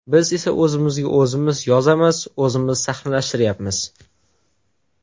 Biz esa o‘zimizga o‘zimiz yozamiz, o‘zimiz sahnalashtiryapmiz.